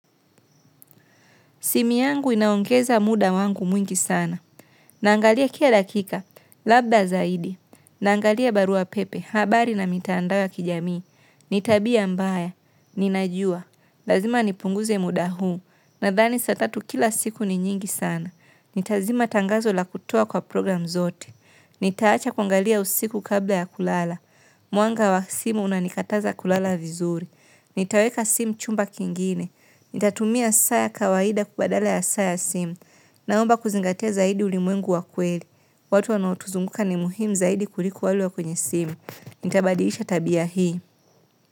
Simi yangu inaongeza muda wangu mwingi sana, naangalia kia dakika, labda zaidi, naangalia barua pepe, habari na mitaandawa kijami, nitabia mbaya, ninajua, lazima nipunguze muda huu, na dhani satatu kila siku ni nyingi sana, nita zima tangazo la kutoa kwa program zote. Nitaacha kuangalia usiku kabla ya kulala. Mwanga wa simu unanikataza kulala vizuri. Nitaweka sim chumba kingine. Nitatumia saa ya kawaida kubadala ya saa ya simu. Naomba kuzingatia zaidi ulimwengu wa kweli. Watu wanaotuzunguka ni muhim zaidi kuliku walu wa kwenye simu. Nita badiisha tabia hii.